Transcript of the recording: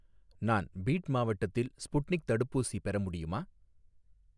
நான் பீட் மாவட்டத்தில் ஸ்புட்னிக் தடுப்பூசி பெற முடியுமா?